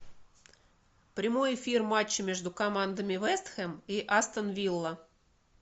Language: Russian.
прямой эфир матча между командами вест хэм и астон вилла